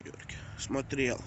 смотрел